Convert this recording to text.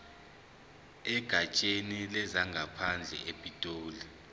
egatsheni lezangaphandle epitoli